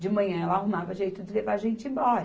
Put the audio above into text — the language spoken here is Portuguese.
De manhã, ela arrumava jeito de levar a gente embora.